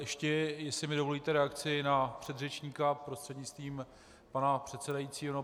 Ještě jestli mi dovolíte reakci na předřečníka prostřednictvím pana předsedajícího.